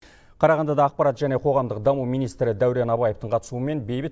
қарағандыда ақпарат және қоғамдық даму министрі дәурен абаевтың қатысуымен бейбіт